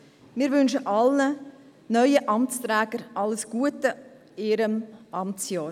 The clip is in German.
Wir wünschen allen neuen Amtsträgern alles Gute für ihr Amtsjahr.